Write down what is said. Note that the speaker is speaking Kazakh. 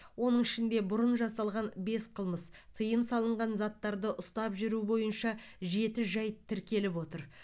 оның ішінде бұрын жасалған бес қылмыс тыйым салынған заттарды ұстап жүру бойынша жеті жайт тіркеліп отыр